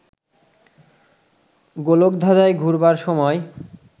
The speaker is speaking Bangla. গোলক ধাঁধায় ঘুরবার সময়